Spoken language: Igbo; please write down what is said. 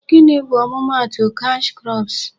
Gịnị bu ọmụma atụ cash crops?